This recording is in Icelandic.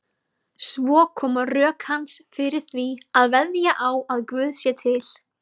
Svo koma rök hans fyrir því að veðja á að Guð sé til.